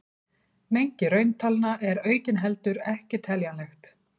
Mengi rauntalna er aukinheldur ekki teljanlegt.